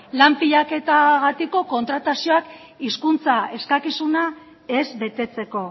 lan pilaketagatiko kontratazioak hizkuntza eskakizuna ez betetzeko